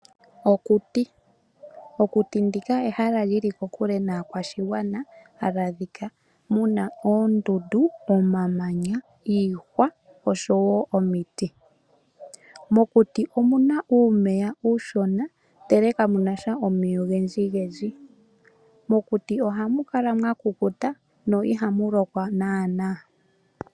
Okuti. Okuti ndika ehala lili kokule naakwashigwana ha li adhika muna oondundu ,omamanya ,iihwa osho wo omiti. Mokuti omuna uumeya uushona ndele kamunasha omeya ogendji. Mokuti ohamu kala mwa kukuta mo ihamu lokwa naana .